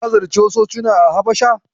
Ka ziyarci wasu cocina a Habasha?